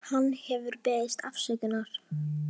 Hann hefur beðist afsökunar